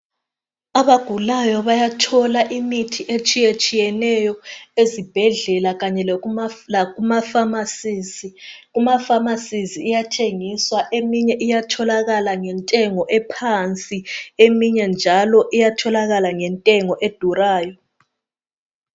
Abagulayo bayathola imithi etshiyetshiyeneyo ezibhedlela kanye lakumafamasizi. Kumafamasizi iyathengiswa, eminye iyatholakala ngentengo ephansi, eminye njalo iyatholakala ngentengo edurayo.